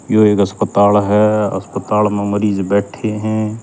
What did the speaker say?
यो एक अस्पताल हअस्पताल म मरीज बैठें हं।